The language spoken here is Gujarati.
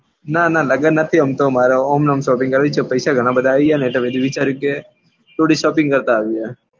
નાં નાં લગન નથી આમ તો મારે એમ નેમ shopping કરવી છે મારે પૈસા ઘણાં બધા આવી ગયા ને પછી વિચાર્યું કે થોડી shopping કરતા આવીએ.